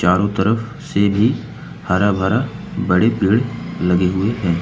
चारों तरफ से भी हरा भरा बड़े पेड़ लगे हुए हैं।